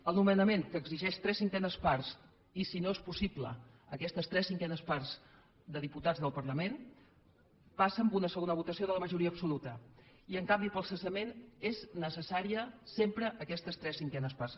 el nomenament que exigeix tres cinquenes parts i si no és possible aquestes tres cinquenes parts de diputats del parlament passa a una segona votació de la majoria absoluta i en canvi per al cessament són necessàries sempre aquestes tres cinquenes parts